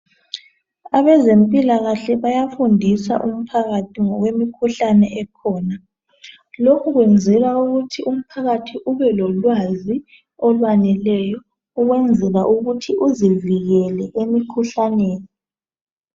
Abezempilakahle bayafundisa umphakathi ngemikhuhlane ekhona. Lokhu kwenzelwa ukuthi umphakathi ube lo lwazi olwaneleyo ukwenzela ukuthi uzivikele emkhuhlaneni